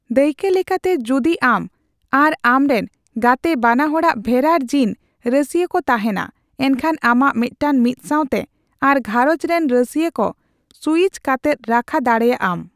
ᱫᱟᱹᱭᱠᱟᱹ ᱞᱮᱠᱟᱛᱮ, ᱡᱚᱫᱤ ᱟᱢ ᱟᱨ ᱟᱢ ᱨᱮᱱ ᱜᱟᱛᱮ ᱵᱟᱱᱟᱦᱚᱲᱟᱜ ᱵᱷᱮᱨᱟᱨ ᱡᱤᱱ ᱨᱟᱹᱥᱤᱭᱟᱹ ᱠᱚ ᱛᱟᱦᱮᱸᱱᱟ, ᱮᱱᱠᱷᱟᱱ ᱟᱢᱟᱜ ᱢᱮᱫᱴᱟᱝ ᱢᱤᱫᱥᱟᱣᱛᱮ ᱟᱨ ᱜᱷᱟᱨᱚᱸᱡᱽ ᱨᱮᱱ ᱨᱟᱹᱥᱤᱹᱭᱟ ᱠᱚ ᱥᱩᱭᱤᱪ ᱠᱟᱛᱮᱫ ᱨᱟᱠᱷᱟ ᱫᱟᱲᱮᱭᱟᱜ ᱟᱢ ᱾